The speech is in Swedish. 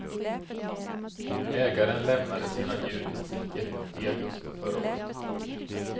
Ägaren lämnade sina djur i sticket i augusti förra året.